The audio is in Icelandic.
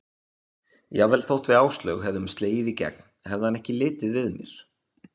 Jafnvel þótt við Áslaug hefðum slegið í gegn hefði hann ekki litið við mér.